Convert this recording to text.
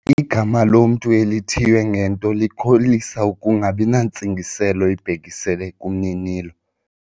Igama lomntu elithiywe ngento likholisa ukungabi nantsingiselo ibhekiselele kumninilo.